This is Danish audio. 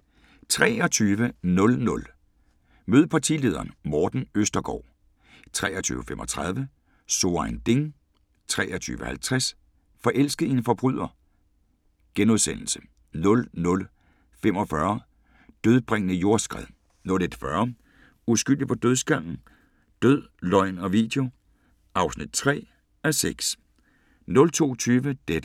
23:00: Mød partilederen: Morten Østergaard 23:35: So ein Ding * 23:50: Forelsket i en forbryder * 00:45: Dødbringende jordskred 01:40: Uskyldig på dødsgangen? Død, løgn og video (3:6) 02:20: Deadline Nat